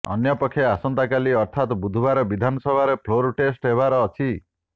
ଅନ୍ୟପକ୍ଷେ ଆସନ୍ତାକାଲି ଅର୍ଥାତ ବୁଧବାର ବିଧାନସଭାରେ ଫ୍ଲୋର ଟେଷ୍ଟ ହେବାର ଅଛି